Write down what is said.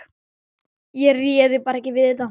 Ég réði bara ekki við þetta.